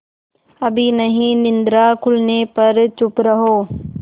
अभी नहीं निद्रा खुलने पर चुप रहो